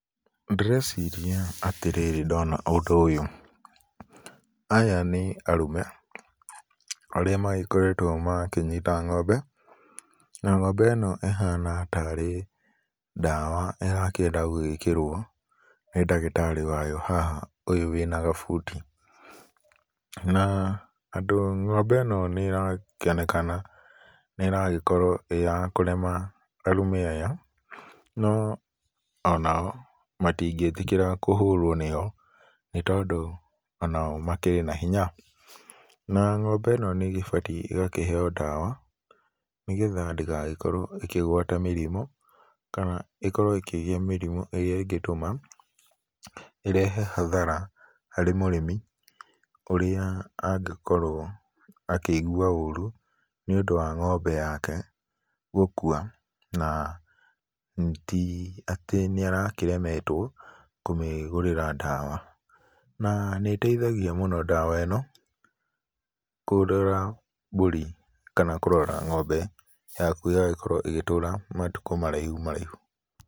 Ndĩreciria atĩrĩrĩ ndona ũndũ ũyũ, aya nĩ arũme, arĩa magĩkoretwo makĩnyita ng'ombe, na ng'ombe ĩno ĩhana tarĩ ndawa ĩrakĩenda gũgĩkĩrwo, nĩ ndagĩtarĩ wayo haha ũyũ wĩna gabuti. Na andũ, ng'ombe ĩno nĩrakĩonekana nĩragĩkorwo ĩ ya kũrema arũme aya, no onao matingĩtĩkĩra kũhũrwo niyo, nĩ tondũ onao makĩrĩ na hinya. Na ng'ombe ĩno nĩ ĩgĩbatiĩ ĩgakĩheo ndawa, nigetha ndĩgagĩkorwo ĩkĩgwata mĩrimũ, kana ĩkorwo ĩkĩgĩa mĩrimũ ĩrĩa ĩngĩtũma ĩrehe hathara harĩ mũrĩmi, ũrĩa angĩkorwo akĩigua ũru nĩũndũ wa ng'ombe yake gũkua, na ti atĩ nĩ arakĩremetwo kũmĩgũrĩra ndawa. Na nĩteithagia mũno ndawa ĩno kũrora mbũri kana kũrora ng'ombe yaku ĩgagĩkorwo ĩgĩtũra matukũ maraihu maraihu.